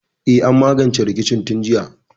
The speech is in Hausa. E, an magance rikicin tun jiya.